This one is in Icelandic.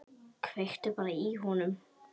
Kveiktu bara í honum.